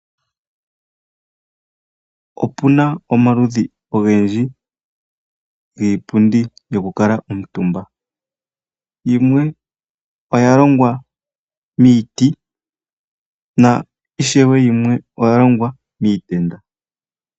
Opuna omaludhi ogendji giipundi yoku kuutumba yimwe oya longwa miiti, yo ishewe yimwe oyalongwa miitenda.